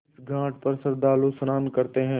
इस घाट पर श्रद्धालु स्नान करते हैं